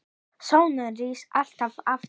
Sólin rís alltaf aftur.